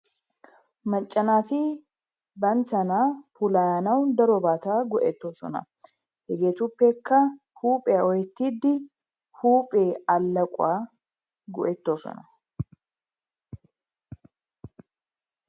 Macca naati banttana puulayanawu darobata go'ettoosona. Hegeetuppekka huuphphiya oottiidi huphe aleequwa go'ettoosona.